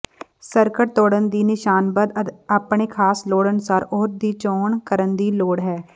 circuit ਤੋੜਨ ਦੀ ਨਿਸ਼ਾਨਬੱਧ ਆਪਣੇ ਖਾਸ ਲੋੜ ਅਨੁਸਾਰ ਉਹ ਦੀ ਚੋਣ ਕਰਨ ਦੀ ਲੋੜ ਹੈ